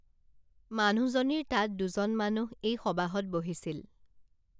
মানুহজনীৰ তাত দুজন মানুহ এই সবাহত বহিছিল